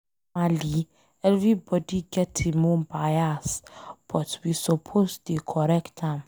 Normally, everybody get em own bias but we suppose dey correct am.